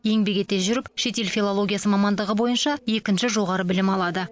еңбек ете жүріп шетел филологиясы мамандығы бойынша екінші жоғары білім алады